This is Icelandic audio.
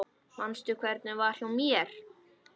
Manstu hvernig var hjá mér?